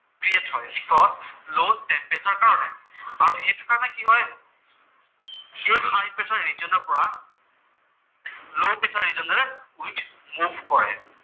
Spread হয়, because low temperature কাৰণে আৰু সেইটো কাৰণে কি হয়, সেই হাই প্ৰেচাৰ ৰিজনৰ পৰা লʼ প্ৰেচাৰ ৰিজনলৈ উইণ্ড মুভ কৰে।